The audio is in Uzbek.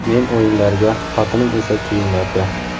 Men o‘yinlarga, xotinim esa kiyimlarga.